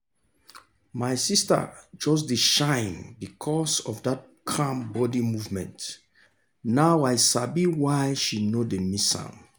my sister just dey shine because of that calm body movement now i sabi why she no dey miss am.